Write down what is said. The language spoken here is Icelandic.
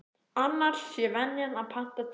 Annars sé venjan að panta tíma.